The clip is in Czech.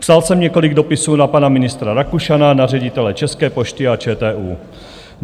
Psal jsem několik dopisů na pana ministra Rakušana, na ředitele České pošty a ČTÚ.